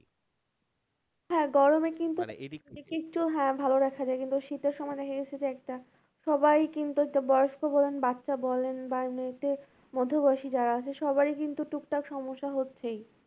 হ্যাঁ গরমে কিন্তু হ্যাঁ ভালো দ্যাখা যায় কিন্তু শীতের সময় এসেছে একটা সবাই কিন্তু একটা বয়স্ক বলেন, বাচ্চা বলেন বা এমনিতে মধ্যবয়সী যারা আছে সবারই কিন্তু টুকটাক সমস্যা হচ্ছেই